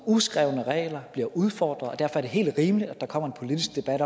uskrevne regler bliver udfordret og derfor er det helt rimeligt at der kommer en politisk debat